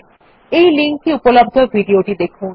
এই লিঙ্ক এ উপলব্ধ ভিডিও টি দেখুন